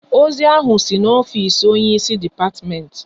Ozi ahụ si n'ofisi onye ịsị depatiment